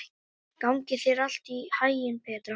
Gangi þér allt í haginn, Petra.